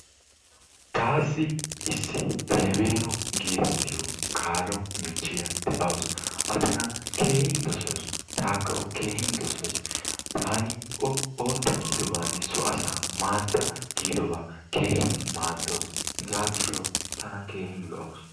Taassi issi Feveno getettiya kaalo michchiya de'awus, A tana keehin doosawus, taakka O keehin doossays. taani O ootta gidoobanne so asaa maaddaa giidobaa keehin maadawus. Hega gishdshaw tanba keehin lo''awus.